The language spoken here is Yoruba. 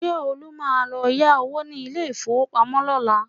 Ṣé Olú máa lọ yá owó ní ilé-ìfowópamọ́ lọ́la?